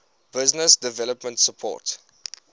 business development support